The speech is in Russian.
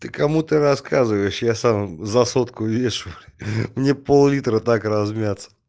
ты кому ты рассказываешь я сам за сотку вешу блять мне пол-литра так размяться